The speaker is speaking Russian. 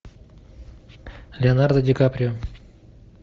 леонардо ди каприо